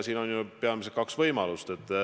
Siin on ju peamiselt kaks võimalust.